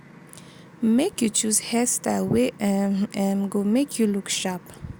make you choose hair style wey um um go make you look sharp